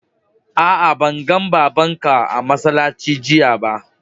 Aa, ban gan babban ka a'masallaci jiya ba.